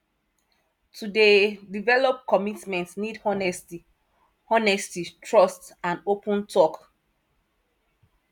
to dey develop commitment need honesty honesty trust and open talk